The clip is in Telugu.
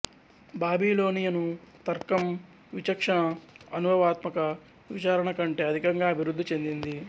బాబిలోనియను తర్కం విచక్షణ అనుభవాత్మక విచారణ కంటే అధికంగా అభివృద్ధి చెందింది